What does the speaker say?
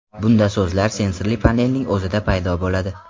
Bunda so‘zlar sensorli panelning o‘zida paydo bo‘ladi.